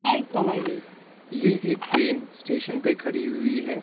ये एक train station पर खड़ी हुई हैं ।